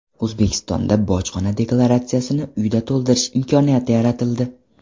O‘zbekistonda bojxona deklaratsiyasini uyda to‘ldirish imkoniyati yaratildi.